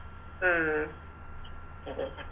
ഉം